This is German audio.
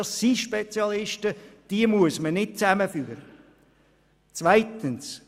Bei den Grundbuchämtern arbeiten erstens Spezialisten, die man nicht zusammenführen muss.